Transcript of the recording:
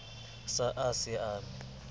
sa a ha se ame